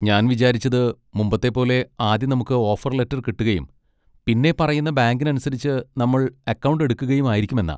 ഞാൻ വിചാരിച്ചത് മുമ്പത്തെ പോലെ ആദ്യം നമുക്ക് ഓഫർ ലെറ്റർ കിട്ടുകയും പിന്നെ പറയുന്ന ബാങ്കിനനുസരിച്ച് നമ്മൾ അക്കൗണ്ട് എടുക്കുകയും ആയിരിക്കും എന്നാ.